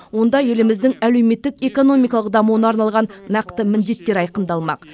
онда еліміздің әлеуметтік экономикалық дамуына арналған нақты міндеттер айқындалмақ